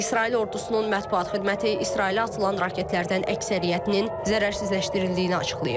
İsrail ordusunun mətbuat xidməti İsrailə atılan raketlərdən əksəriyyətinin zərərsizləşdirildiyini açıqlayıb.